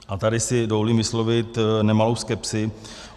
A tady si dovolím vyslovit nemalou skepsi.